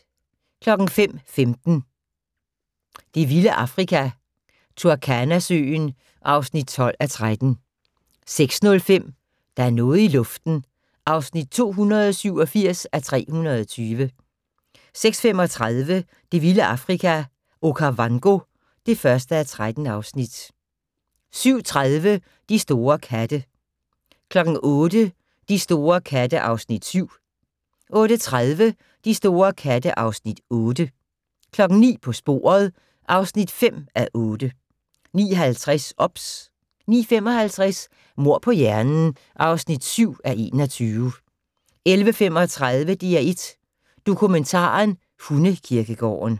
05:15: Det vilde Afrika - Turkana-søen (12:13) 06:05: Der er noget i luften (287:320) 06:35: Det vilde Afrika - Okavango (1:13) 07:30: De store katte 08:00: De store katte (Afs. 7) 08:30: De store katte (Afs. 8) 09:00: På sporet (5:8) 09:50: OBS 09:55: Mord på hjernen (7:21) 11:35: DR1 Dokumentaren: Hundekirkegården